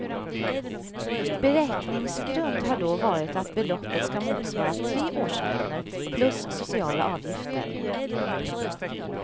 Beräkningsgrund har då varit att beloppet ska motsvara tre årslöner plus sociala avgifter.